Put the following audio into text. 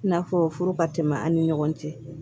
I n'a fɔ furu ka tɛmɛ an ni ɲɔgɔn cɛ